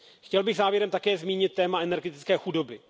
Chtěl bych závěrem také zmínit téma energetické chudoby.